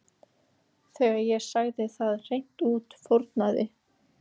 Þegar ég sagði það hreint út fórnaði